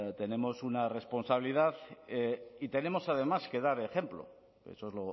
tenemos una responsabilidad y tenemos además que dar ejemplo eso es